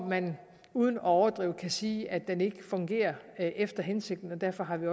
man uden at overdrive kan sige at den ikke fungerer efter hensigten derfor har vi